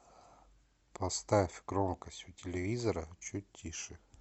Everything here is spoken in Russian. поставь громкость у телевизора чуть тише